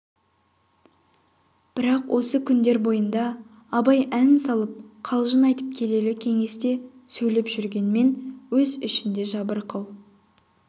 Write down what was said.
бірақ осы күндер бойында абай ән салып қалжың айтып келелі кеңес те сөйлеп жүргенмен өз ішінде жабырқау